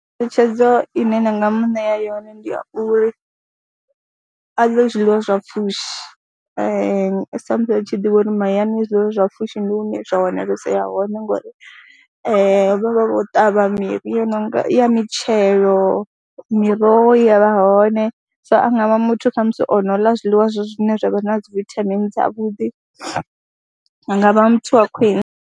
Ngeletshedzo ine nda nga mu ṋea yone ndi a uri a ḽe zwiḽiwa zwa pfhushi sa musi ri tshi ḓivha uri mahayani zwiḽiwa zwa pfhushi ndi hune zwa wanaleyesa hone ngori vha vha vho ṱavha miri ya no ya mitshelo, miroho i ya vha hone, so a nga vha muthu kha musi o no ḽa zwiḽiwa zwine zwa vha na dzi vithamini dzavhuḓi nga vha muthu wa khwine.